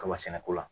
Kaba sɛnɛ ko la